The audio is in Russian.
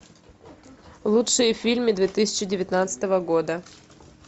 лучшие фильмы две тысячи девятнадцатого года